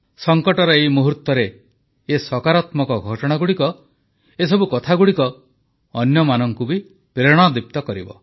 ସଂକଟର ଏଇ ମୁହୂର୍ତ୍ତରେ ଏ ସକାରାତ୍ମକ ଘଟଣାଗୁଡ଼ିକ ଏସବୁ କଥାଗୁଡ଼ିକ ଅନ୍ୟମାନଙ୍କୁ ବି ପ୍ରେରଣାଦୀପ୍ତ କରିବ